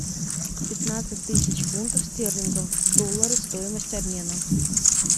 пятнадцать тысяч фунтов стерлингов в доллары стоимость обмена